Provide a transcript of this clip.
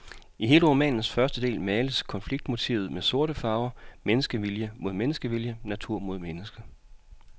I hele romanens første del males konfliktmotivet med sorte farver, menneskevilje mod menneskevilje, natur mod menneske.